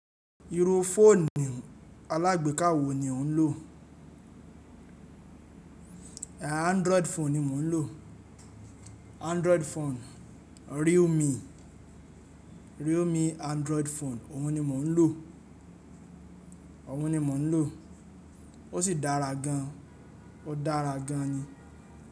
Iru foonu alagbeka wo ni o n lo? Android foonu ni mo n lo. Android foonu, Realme. Realme Android foonu, oun ni mo n lo. Oun ni mo n lo. O si dara gan. O dara gan ni.